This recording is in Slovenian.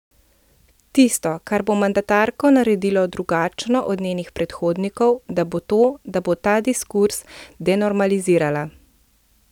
Tisto, kar bo mandatarko naredilo drugačno od njenih predhodnikov, da bo to, da bo ta diskurz denormalizirala.